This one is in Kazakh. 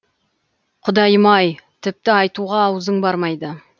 құдайым ай тіпті айтуға аузың бармайды